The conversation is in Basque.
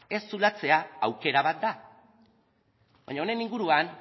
ez zulatzea aukera bat da baina honen inguruan